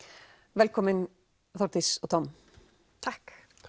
velkomin Þórdís og Tom takk